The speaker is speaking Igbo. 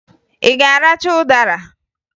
Ị ga-aracha ụdara?